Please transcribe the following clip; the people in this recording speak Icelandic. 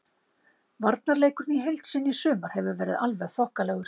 Varnarleikurinn í heild sinni í sumar hefur verið alveg þokkalegur.